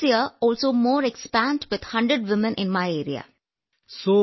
വിജയശാന്തി അതെ സർ ഈ വർഷവും എന്റെ പ്രദേശത്ത് 100 സ്ത്രീകളുമായി കൂടുതൽ വിപുലീകരിക്കുന്നു